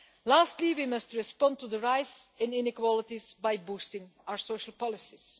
Lastly, we must respond to the rise in inequalities by boosting our social policies.